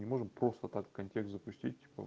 не можем просто так контекст запустить типа